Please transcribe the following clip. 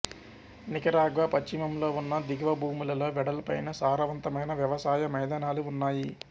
Nicaragua పశ్చిమంలో ఉన్న దిగువభూములలో వెడల్పైన సారవంతమైన వ్యవసాయ మైదానాలు ఉన్నాయి